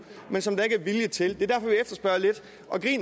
men som der ikke er vilje til det